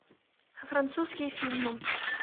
французские фильмы